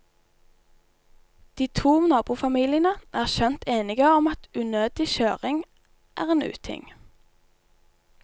De to nabofamiliene er skjønt enige om at unødig kjøring er en uting.